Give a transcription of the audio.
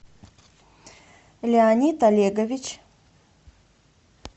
леонид олегович